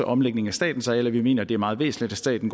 omlægning af statens arealer vi mener det er meget væsentligt at staten